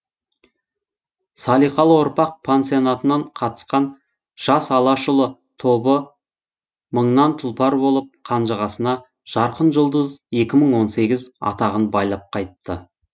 салиқалы ұрпақ пансионатынан қатысқан жас алашұлы тобы мыңнан тұлпар болып қанжығасына жарқын жұлдыз екі мың он сегіз атағын байлап қайтты